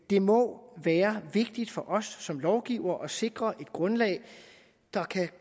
det må være vigtigt for os som lovgivere at sikre et grundlag der kan